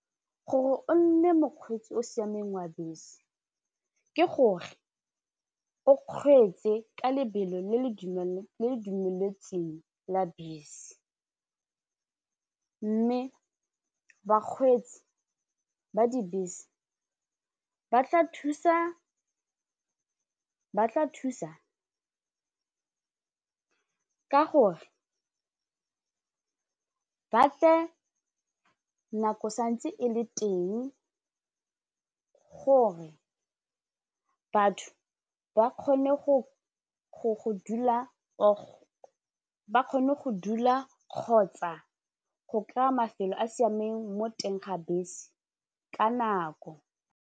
Gore o mokgweetsi o siameng wa bese ke gore o kgweetse ka lebelo le le dumeletsweng la bese mme bakgweetsi ba dibese ba tla thusa ka gore ba tle nako santse e le teng gore batho ba kgone go dula kgotsa go kry-a mafelo a siameng mo teng ga bese ka nako.